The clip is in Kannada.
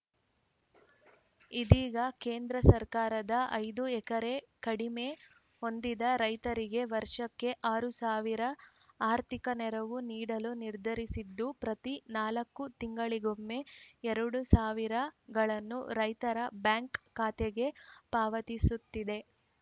ಇದೀಗ ಕೇಂದ್ರ ಸರ್ಕಾರ ಐದು ಎಕರೆ ಕಡಿಮೆ ಹೊಂದಿದ ರೈತರಿಗೆ ವರ್ಷಕ್ಕೆ ಆರು ಸಾವಿರ ಆರ್ಥಿಕ ನೆರವು ನೀಡಲು ನಿರ್ಧರಿಸಿದ್ದು ಪ್ರತಿ ನಾಲ್ಕು ತಿಂಗಳಿಗೊಮ್ಮೆ ಎರಡ್ ಸಾವಿರ ಗಳನ್ನು ರೈತರ ಬ್ಯಾಂಕ್‌ ಖಾತೆಗೆ ಪಾವತಿಸುತ್ತಿದೆ